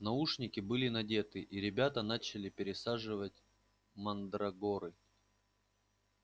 наушники были надеты и ребята начали пересаживать мандрагоры